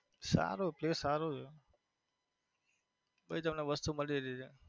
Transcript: સારું કે સારું છે વસ્તુ મળી .